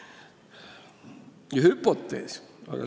Ja milline on hüpotees?